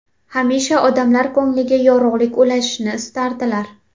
Hamisha odamlar ko‘ngliga yorug‘lik ulashishni istardilar.